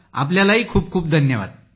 आपल्यालाही खूप खूप धन्यवाद